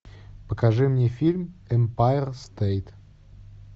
покажи мне фильм эмпайр стэйт